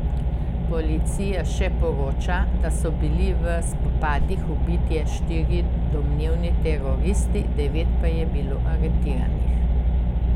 Policija še poroča, da so bili v spopadih ubiti štirje domnevni teroristi, devet pa je bilo aretiranih.